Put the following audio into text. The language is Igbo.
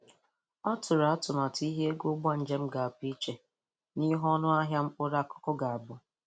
O tụrụ atụmatụ ihe ego ụgbọ njem ga-abụ iche n'ihe onụ ahịa mkpụrụ akụkụ ga-abụ.